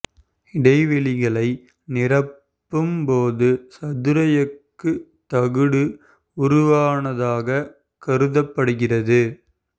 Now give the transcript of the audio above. இடைவெளிகளை நிரப்பும் போது சதுர எஃகு தகடு உருவானதாக கருதப்படுகிறது